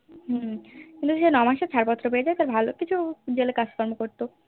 হম কিন্তু সে নয় মাসে ছাড়পত্র পেয়ে যাই তার ভালোকিছু Jail এ কাজকর্ম করতো